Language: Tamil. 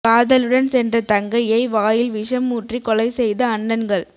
காதலனுடன் சென்ற தங்கையை வாயில் விஷம் ஊற்றி கொலை செய்த அண்ணன்கள்